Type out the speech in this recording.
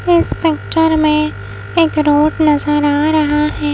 इस पिक्चर में एक रोड नजर आ रहा है।